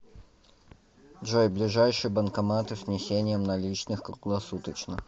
джой ближайшие банкоматы с внесением наличных круглосуточно